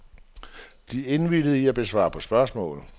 De indvilgede i at svare på spørgsmål.